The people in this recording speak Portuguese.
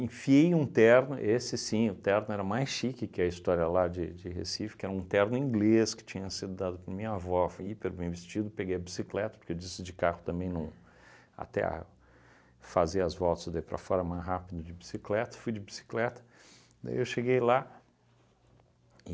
Enfiei um terno, esse sim, o terno era mais chique que a história lá de de Recife, que era um terno inglês, que tinha sido dado por minha avó, fui hiper bem vestido, peguei a bicicleta, porque disse de carro também não, até a fazer as voltas daí para fora mais rápido de bicicleta, fui de bicicleta, daí eu cheguei lá e...